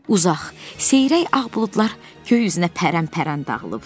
Uzaq, seyrək ağ buludlar göy üzünə pərən-pərən dağılıb.